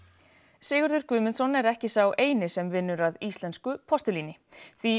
Sigurður Guðmundsson er ekki sá eini sem vinnur að íslensku postulíni því